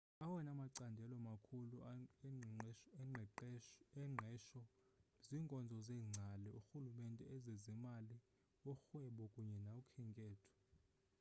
awona macandelo makhulu engqesho ziinkonzo zeengcali urhulumente ezezimali urhwebo kunye nokhenketho